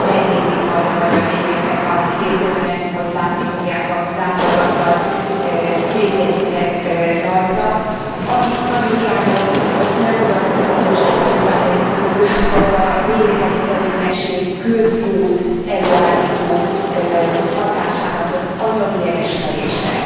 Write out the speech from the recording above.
Ha megnézik majd a magyar méhészek a kész dokumentumot, látni fogják a láthatatlan kézjegyüket rajta. Amit nagyon hiányolok viszont, amit nem fogadtak el a módosító indítványaim közül, az a méhészeti tevékenység közjót előállító hatásának az anyagi elismerése.